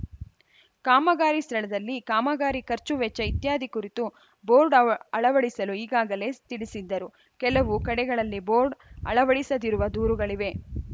ಕಾಮಗಾರಿ ಸ್ಥಳದಲ್ಲಿ ಕಾಮಗಾರಿ ಖರ್ಚು ವೆಚ್ಚ ಇತ್ಯಾದಿ ಕುರಿತು ಬೋರ್ಡ್‌ ಅವ್ ಅಳವಡಿಸಲು ಈಗಾಗಲೇ ತಿಳಿಸಿದ್ದರು ಕೆಲವು ಕಡೆಗಳಲ್ಲಿ ಬೋರ್ಡ್‌ ಅಳವಡಿಸದಿರುವ ದೂರುಗಳಿವೆ